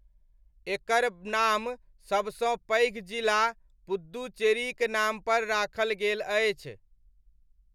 एकर नाम सबसँ पैघ जिला पुद्दुचेरीक नामपर राखल गेल अछि।